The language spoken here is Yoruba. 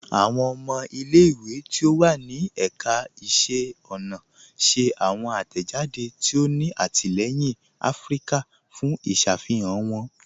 Awọn ọmọ ilẹ̀-ìwé tí ó wà ní èkà ìṣẹ̀ ọna ṣẹ̀ awọn atẹ́jàdé tí ó ní àtìlẹyìn Afíríkà fún ìṣàfihàn wọn